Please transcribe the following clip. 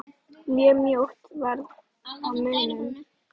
Mjög mjótt varð á munum.